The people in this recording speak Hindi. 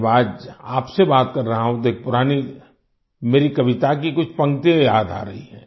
जब आज आपसे बात कर रहा हूँ तो एक पुरानी मेरी कविता की कुछ पंक्तियां याद आ रही हैं